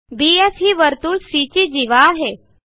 BF ही वर्तुळ C ची जीवा आहे